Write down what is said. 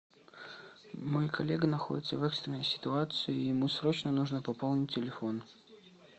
мой коллега находится в экстренной ситуации и ему срочно нужно пополнить телефон